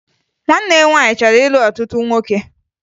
Nwanne ya nwaanyị chọrọ ịlụ ọtụtụ nwoke